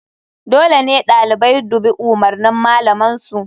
Dole ɗalibai dubi umurnin malaman su..